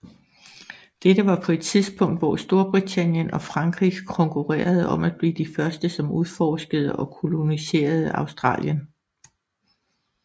Dette var på et tidspunkt hvor Storbritannien og Frankrig konkurrerede om at blive de første som udforskede og koloniserede Australien